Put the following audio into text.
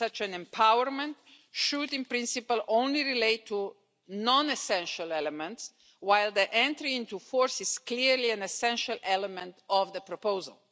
Such an empowerment should in principle only relate to non-essential elements, while the entry into force is clearly an essential element of the proposal.